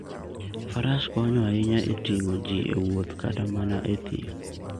Faras konyo ahinya e ting'o ji e wuoth kata mana e thim.